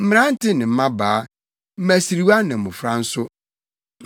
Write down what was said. mmerante ne mmabaa, mmasiriwa ne mmofra nso.